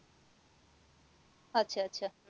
আচ্ছা আচ্ছা